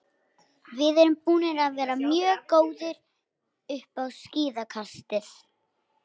Við erum búnir að vera mjög góðir upp á síðkastið.